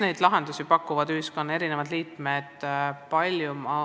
Neid lahendusi pakuvad ühiskonna erinevad liikmed üsna palju.